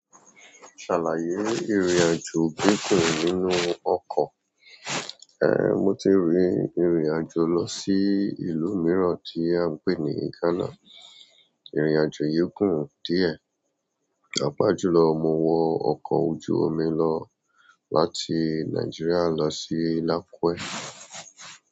Ṣàlàyé ìrìnàjò gígùn nínú ọkọ̀? Ehn, mo ti rìn ìrìnàjò lọ sí ìlú mìíràn tí a ń pè ní Ghana. Ìrìnàjò yìí gùn díẹ̀, pàápàá jùlọ mo wọ ọkọ̀ ojú omi lọ láti Nigeria lọ sí Lakue.